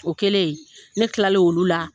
O kɛlen ne kilalen olu la